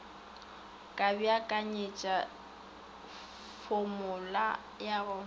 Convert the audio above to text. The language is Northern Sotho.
ka beakanyetša fomula ya go